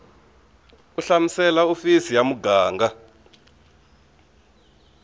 u hlamusela hofisi ya muganga